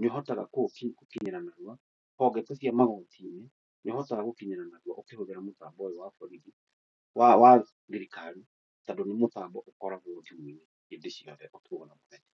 nĩ ũhotaga gũkinyĩra narua, o ndeto cia magoti-inĩ nĩ ũhotaga gũkinyĩra narua ũkĩhũthĩra mũtambo ũyũ wa borithi, wa thirikari, tondũ nĩ mũtambo ũkoragwo thimũ-inĩ hĩndĩ ciothe ũtukũ na mũthenya.